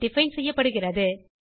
define செய்யப்படுகிறது